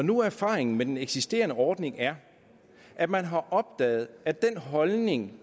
nu erfaringen med den eksisterende ordning er at man har opdaget at den holdning